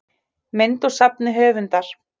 mynd úr safni höfundar